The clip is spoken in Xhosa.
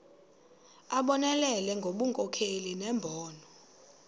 abonelele ngobunkokheli nembono